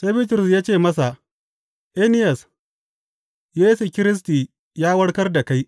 Sai Bitrus ya ce masa, Eniyas, Yesu Kiristi ya warkar da kai.